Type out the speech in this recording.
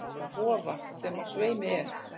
Vofa, sem á sveimi er.